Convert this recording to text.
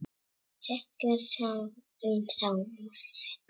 Sekkur inn í sjálfan sig.